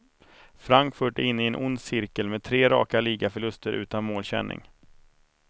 Frankfurt är inne i en ond cirkel med tre raka ligaförluster utan målkänning.